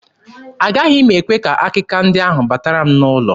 Agaghị m ekwe ka akịka ndị ahụ batara m n'ụlọ.